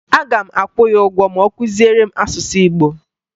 Aga m akwụ ya ụgwọ ma ọ kụziere m asụsụ Igbo